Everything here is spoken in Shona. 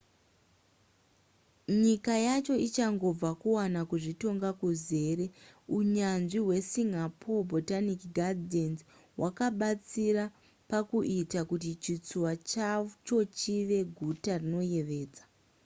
nyika yacho ichangobva kuwana kuzvitonga kuzere unyanzvi hwekusingapore botanic gardens' hwakabatsira pakuita kuti chitsuwa chacho chive guta rinoyevedza